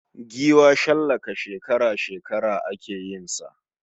Giwa shallaka shekara -shekara ake yin sa.